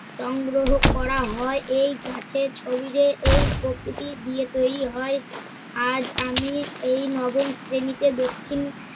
সংগ্রহ করা হয় এই গাছের শরীরে এই প্রকৃতি দিয়ে তৈরি হয়। আজ আমি এই নবম শ্রেণিতে দক্ষিণ